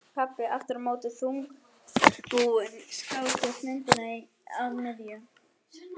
Pabbi aftur á móti þungbúinn skásker myndina inn að miðju.